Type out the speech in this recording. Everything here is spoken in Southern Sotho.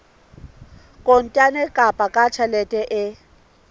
kontane kapa ka tjheke e